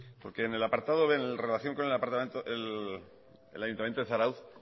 porque en relación con el ayuntamiento de zarautz